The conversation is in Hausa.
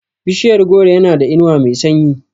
Bishiyar goro yana da inuwa mai sanyi.